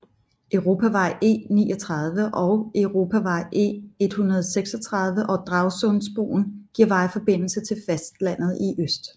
Europavej E39 og Europavej E136 og Dragsundbroen giver vejforbindelse til fastlandet i øst